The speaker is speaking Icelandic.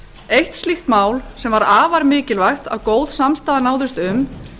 eitt slíkt mál sem var afar mikilvægt að góð samstaða náðist um